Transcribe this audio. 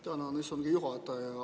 Tänan, istungi juhataja!